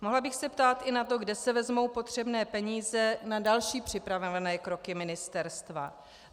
Mohla bych se ptát i na to, kde se vezmou potřebné peníze na další připravované kroky ministerstva.